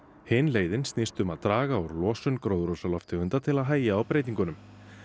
hin leiðin snýst um að draga úr losun gróðurhúsalofttegunda til að hægja á breytingunum